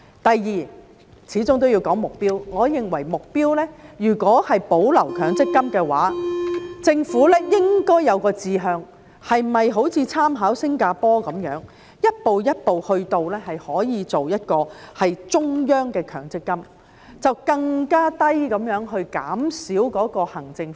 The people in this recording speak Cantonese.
第二，始終都要說目標，我認為如果是保留強積金的話，政府應該有一個志向，是否應參考新加坡般，一步一步的做到一個中央強積金，把行政費用減到更低？